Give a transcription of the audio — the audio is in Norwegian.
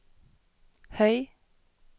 høy